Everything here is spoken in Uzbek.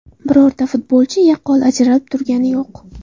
Birorta futbolchi yaqqol ajralib turgani yo‘q.